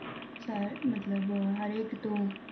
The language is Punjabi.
ਹਰ ਮਤਲਬ ਹਰੇਕ ਤੋਂ